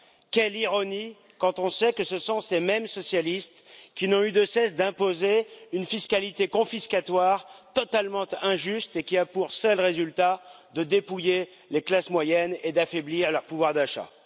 Quelle ironie quand on sait que ce sont ces mêmes socialistes qui n'ont eu de cesse d'imposer une fiscalité confiscatoire totalement injuste et qui a eu pour seul résultat de dépouiller les classes moyennes et d'affaiblir leur pouvoir d'achat.